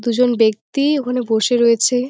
দুজন বেক্তি ওখানে বসে রয়েছে।